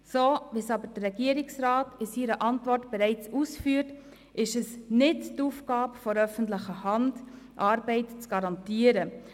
So wie es aber der Regierungsrat in seiner Antwort bereits ausführt, ist es nicht die Aufgabe der öffentlichen Hand, Arbeit zu garantieren.